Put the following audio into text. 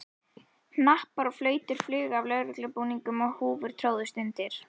Hnappar og flautur flugu af lögreglubúningum og húfur tróðust undir.